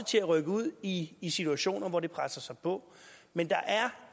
til at rykke ud i i situationer hvor der er pres på men der er